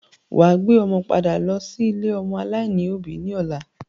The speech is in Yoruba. Wà á gbé ọmọ padà lọ́ sí ilé-ọmọ aláìní òbí ní ọ̀la.